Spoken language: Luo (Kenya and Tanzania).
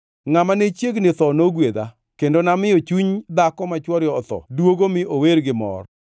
Ngʼama ne chiegni tho nogwedha; kendo namiyo chuny dhako ma chwore otho duogo mi ower gi mor.